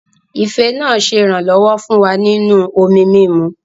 Ife náà ṣe iranlọwọ fún wá nínú omí mímù